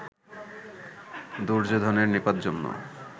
দুর্যোধনের নিপাত জন্য